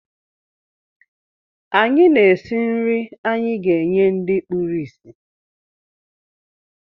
Anyị na-esi nri anyị ga-enye ndị kpuru ísì.